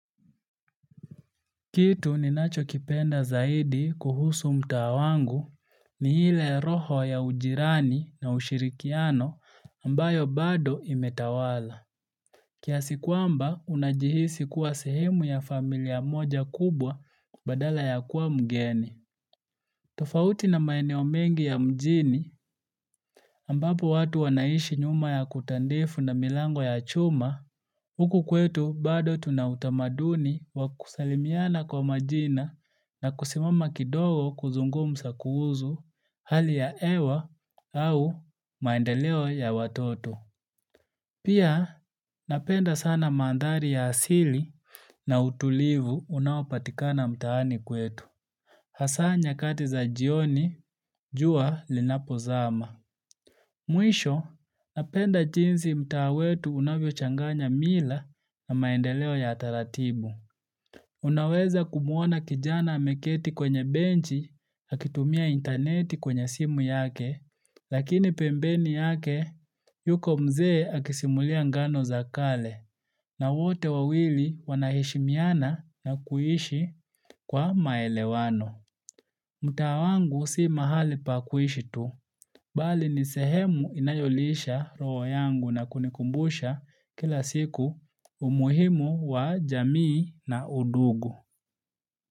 Kitu ninacho kipenda zaidi kuhusu mtaa wangu ni ile roho ya ujirani na ushirikiano ambayo bado imetawala. Kiasikwamba unajihisi kuwa sehemu ya familia moja kubwa badala ya kuwa mgeni. Tofauti na maeneo mengi ya mjini ambapo watu wanaishi nyuma ya kuta ndefu na milango ya chuma. Huku kwetu bado tunautamaduni wakusalimiana kwa majina na kusimama kidogo kuzungumza kuhusu hali ya hewa au maendeleo ya watoto. Pia napenda sana mandhari ya asili na utulivu unaopatikana mtaani kwetu. Hasa nyakati za jioni jua linapozama. Mwisho, napenda jinsi mtaa wetu unavyo changanya mila na maendeleo ya taratibu. Unaweza kumuona kijana ameketi kwenye benchi, akitumia interneti kwenye simu yake, lakini pembeni yake yuko mzee akisimulia ngano za kale, na wote wawili wanaheshimiana na kuishi kwa maelewano. Mtaa wangu si mahali pakuishi tu, bali nisehemu inayolisha roho yangu na kunikumbusha kila siku umuhimu wa jamii na udugu.